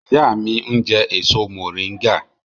Ìyá mi ń jẹ èso mòríngà